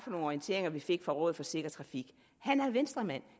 orienteringer vi fik fra rådet for sikker trafik han er venstremand